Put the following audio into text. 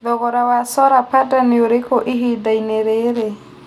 thogora wa solar panda nĩ ũrĩkũ ĩhĩndainĩ rĩrĩ